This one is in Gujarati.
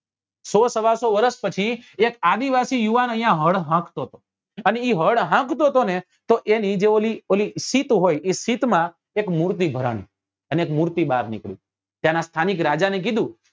સો સવા સો વર્ષ પછી એક આદિવાસી યુવાન અહિયાં હળ હાંકતો તો અને એ જે હળ હાંકતો ને તો એની જે ઓલી જે સિત હોય એ સિત માં એક મૂર્તિ ભરની અને એક મૂર્તિ બાર નીકળી ત્યાં નાં સ્થાનિક રાજા ને કીધું